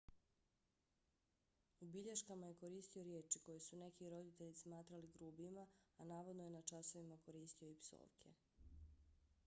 u bilješkama je koristio riječi koje su neki roditelji smatrali grubima a navodno je na časovima koristio i psovke